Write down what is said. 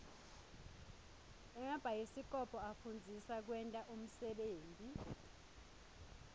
emabhayisikobho afundzisa kwenta unsebenti